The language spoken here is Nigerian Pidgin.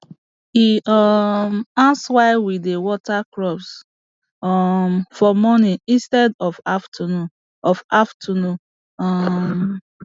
e um ask why we dey water crops um for morning instead of afternoon of afternoon um